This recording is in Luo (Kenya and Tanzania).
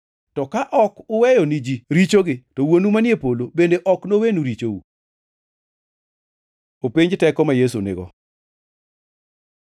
To ka ok uweyo ni ji richogi, to Wuonu manie polo bende ok nowenu richou.] + 11:26 Loko moko mag Muma otiyo gi weche moko machal gi mantie e \+xt Mat 6:15\+xt*. ” Openj teko ma Yesu nigo